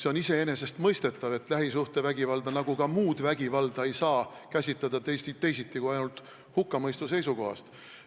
See on iseenesestmõistetav, et lähisuhtevägivalda nagu ka muud vägivalda ei saa käsitleda teisiti kui ainult hukkamõistu seisukohast.